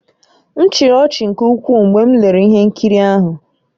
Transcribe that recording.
M chịrị ọchị nke ukwuu mgbe m lere ihe nkiri ahụ